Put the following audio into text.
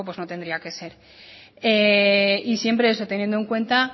no tendría que ser y siempre eso teniendo en cuenta